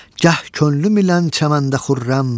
Gəh könlüm ilə çəməndə xürrəm.